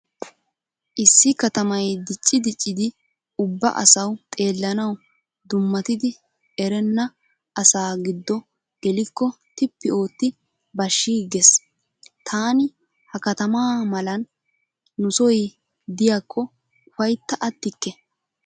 Issi katamay diccii diccidi ubba asawu xeellanawu dummatidi erenna asaa giddo gelikko tippi ootti bashshiiggees. Taani ha katama malan nusoy diykko ufaytta attikke.